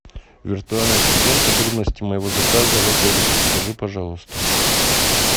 виртуальный ассистент подробности моего заказа в отеле подскажи пожалуйста